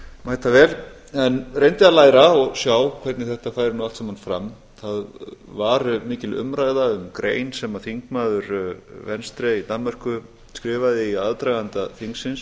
hér mætavel en reyndi að læra og sjá hvernig þetta færi allt saman fram það var mikil umræða um grein sem þingmaður venstre í danmörku skrifaði í aðdraganda þingsins